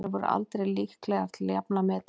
Þær voru aldrei líklegar til að jafna metin.